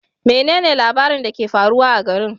Menene labaran da ke faruwa a garin?